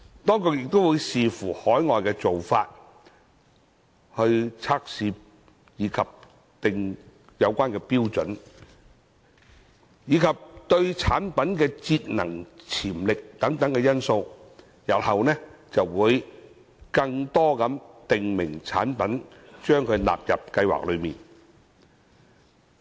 當局亦會視乎海外做法、測試標準，以及產品的節能潛力等因素，日後將更多訂明產品納入計劃內。